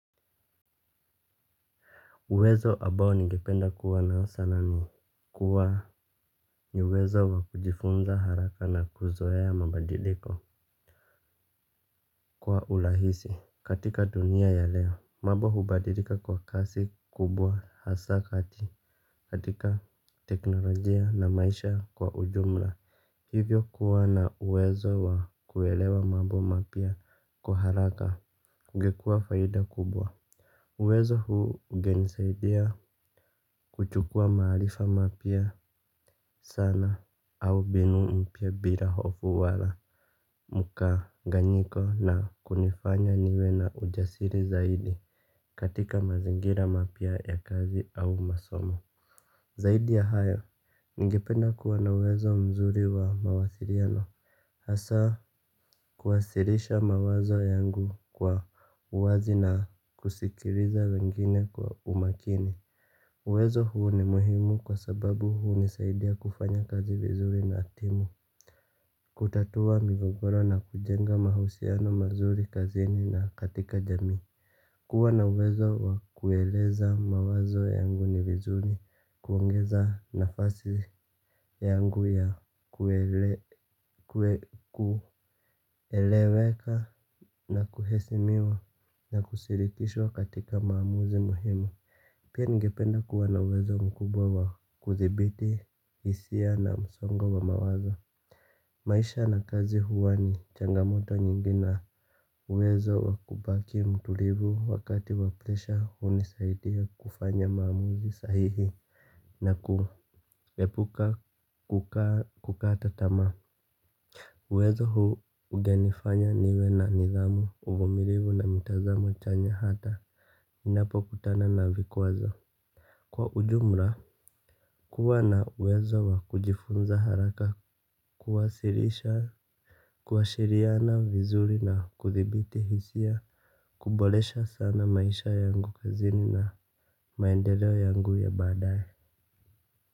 Uwezo abao ningependa kuwa nao sana ni kuwa ni uwezo wa kujifunza haraka na kuzoea mabadiliko. Kwa ulahisi katika dunia ya leo mabo hubadilika kwa kasi kubwa hasa kati katika teknolojia na maisha kwa ujumla. Hivyo kuwa na uwezo wa kuwelewa mabo mapya kwa haraka ungekua faida kubwa. Uwezo huu ungenisaidia kuchukua maalifa mapya sana au binu mpya bila hofu wala mukaganyiko na kunifanya niwe na ujasiri zaidi katika mazingira mapya ya kazi au masomo. Zaidi ya hayo, ningependa kuwa na uwezo mzuri wa mawasiriano. Hasaa kuwasirisha mawazo yangu kwa uwazi na kusikiriza wengine kwa umakini. Uwezo huu ni muhimu kwa sababu hunisaidia kufanya kazi vizuri na timu. Kutatua migogoro na kujenga mahusiano mazuri kazini na katika jamii. Kuwa na uwezo wa kueleza mawazo yangu ni vizuri kuongeza nafasi yangu ya kueleweka na kuhesimiwa na kusirikishwa katika maamuzi muhimu. Pia ningependa kuwa na uwezo mkubwa wa kuthibiti hisia na msongo wa mawaza. Maisha na kazi huwa ni changamoto nyingi na uwezo wa kubaki mturivu wakati wa plesha unisaidia kufanya maamuzi sahihi. Na kuepuka kukata tamaa. Uwezo huu ugenifanya niwe na nidhamu uvumirivu na mitazamo chanya hata ninapokutana na vikwazo. Kwa ujumra kuwa na uwezo wa kujifunza haraka kuwasirisha kuwashiriana vizuri na kuthibiti hisia kubolesha sana maisha yangu kazini na maendeleo yangu ya baadae.